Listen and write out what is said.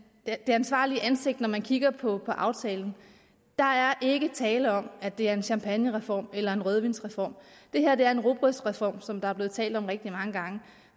ansvarligt ansigt når man kigger på aftalen der er ikke tale om at det er en champagnereform eller en rødvinsreform det her er en rugbrødsreform som der er blevet talt om rigtig mange gange